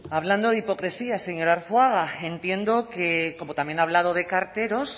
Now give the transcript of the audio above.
hablando de hipocresía señor arzuaga entiendo que como también ha hablado de carteros